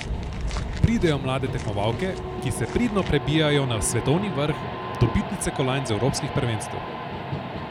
Pridejo mlade tekmovalke, ki se pridno prebijajo na svetovni vrh, dobitnice kolajn z evropskih prvenstev.